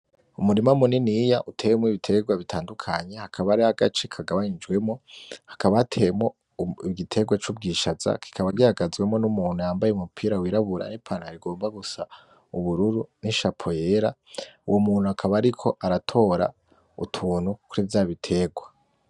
Umurima muniniya uteyemwo ibiterwa bitandukanye hakaba hariho agace kagabanijwemwo hakaba hateyemwo igiterwa c'ubwishaza kikaba gihagazwemwo n'umuntu yambaye umupira wirabura n'ipantaro igomba gusa ubururu n'ishapo yera, uwo muntu akaba ariko aratora utuntu kuri vya biterwa.